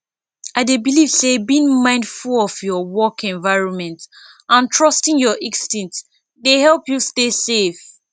i dey believe say being mindful of your work environment and trusting your instincts dey help you stay safe